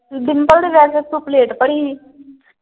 ਡਿਮਪਲ ਦੇ ਵਿਆਹ ਤੇ ਤੂੰ ਪਲੇਟ ਭਰੀ ਸੀ।